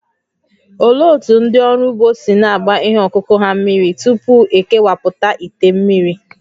Olee otú ndị ọrụ ugbo si na-agba ihe ọkụkụ ha mmiri tupu e kewapụta ite mmiri?